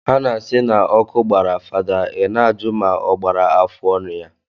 Ha na-asị na ọkụ gbara fada I na-ajụ ma ọ gbara afụọnụ ya.